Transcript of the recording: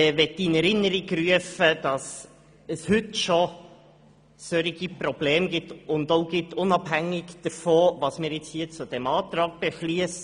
Ich möchte in Erinnerung rufen, dass es schon heute solche Probleme gibt, unabhängig davon, was wir zu diesem Antrag beschliessen.